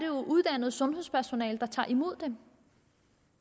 jo uddannet sundhedspersonale der tager imod dem